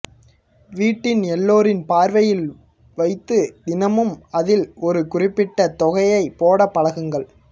வீட்டில் எல்லோரின் பார்வையில் வைத்து தினமும் அதில் ஒரு குறிப்பிட்ட தொகையைப் போடப் பழக்குங்கள்